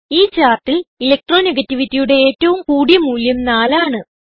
ഈ ചാർട്ടിൽ Electro negativityയുടെ ഏറ്റവും കൂടിയ മൂല്യം 4 ആണ്